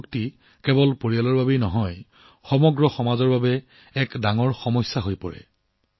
drugs আসক্তি কেৱল পৰিয়ালটোৰ বাবেই নহয় সমগ্ৰ সমাজৰ বাবেও এক ডাঙৰ সমস্যা হৈ পৰে